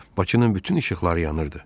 Bakının bütün işıqları yanırdı.